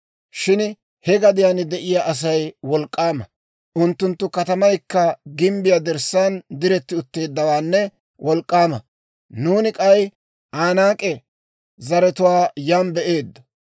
Shin he gadiyaan de'iyaa Asay wolk'k'aama; unttunttu katamaykka gimbbiyaa dirssaan diretti utteeddawaanne wolk'k'aama. Nuuni k'ay Anaak'e zaratuwaa yan be'eeddo.